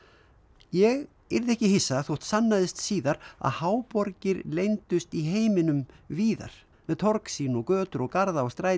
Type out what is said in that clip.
ég yrði ekki hissa þótt sannaðist síðar að leyndust í heiminum víðar með torg sín og götur og garða og stræti